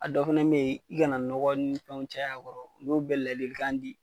A dɔ fɛnɛ be yen i kana nɔgɔ ni fɛnw bɛɛ cayay'a kɔrɔ u y'olu ladilikan di